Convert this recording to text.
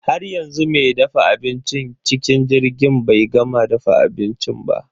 Haryanzu me dafa abincin cikin jirgin bai gama dafa abinci ba.